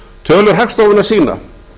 tölur hagstofunnar sýna